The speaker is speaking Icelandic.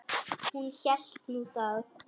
Hún hélt nú það.